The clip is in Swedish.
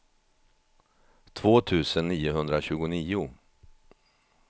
två tusen niohundratjugonio